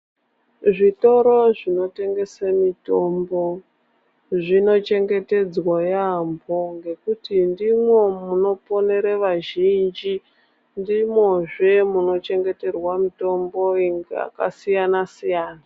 Zvitoro zvinotengese mutombo zvinochengetedzwa yaampo ngekuti ndimo munoponere vazhinji ndimo zve munochengeterwa mutombo inenga yakasiyana siyana.